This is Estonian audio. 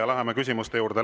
Ja läheme küsimuste juurde.